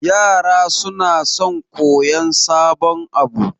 Yara sunfi son koyan sabon abu